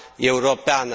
Europeană.